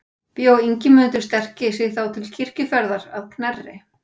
Bjó Ingimundur sterki sig þá til kirkjuferðar að Knerri.